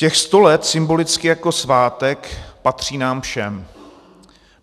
Těchto sto let symbolicky jako svátek patří nám všem.